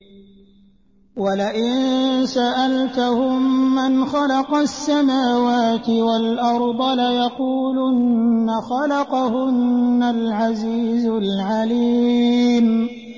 وَلَئِن سَأَلْتَهُم مَّنْ خَلَقَ السَّمَاوَاتِ وَالْأَرْضَ لَيَقُولُنَّ خَلَقَهُنَّ الْعَزِيزُ الْعَلِيمُ